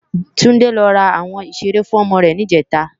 Tunde lò rá áwòn ṣéré fún òmò rè nijètá